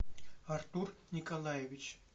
артур николаевич